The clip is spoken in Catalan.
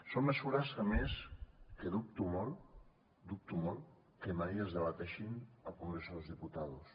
són mesures que a més dubto molt dubto molt que mai es debatin al congreso de los diputados